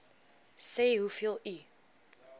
sê hoeveel u